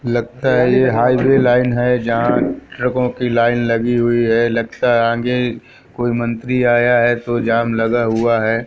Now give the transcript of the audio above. लगता है यह हाईवे लाइन है जहां ट्रकों की लाइन लगी हुई है लगता आगे कोई मंत्री आया है तो जाम लगा हुआ है।